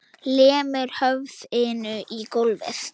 Lemur höfðinu í gólfið.